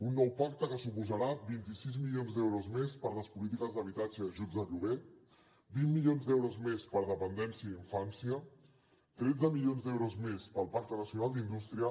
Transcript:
un nou pacte que suposarà vint sis milions d’euros més per a les polítiques d’habitatge i ajuts de lloguer vint milions d’euros més per a dependència i infància tretze milions d’euros més per al pacte nacional d’indústria